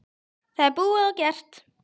Það er búið og gert.